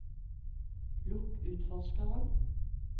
lukk utforskeren